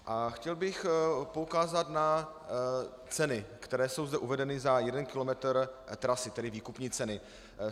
A chtěl bych poukázat na ceny, které jsou zde uvedeny za jeden kilometr trasy, tedy výkupní ceny.